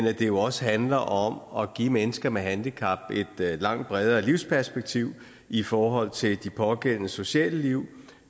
at det jo også handler om at give mennesker med handicap et langt bredere livsperspektiv i forhold til de pågældendes sociale liv